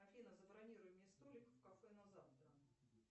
афина забронируй мне столик в кафе на завтра